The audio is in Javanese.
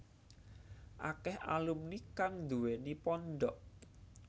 Akèh alumni kang nduwèni pondhok